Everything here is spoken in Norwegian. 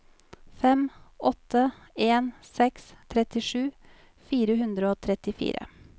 fem åtte en seks trettisju fire hundre og trettifire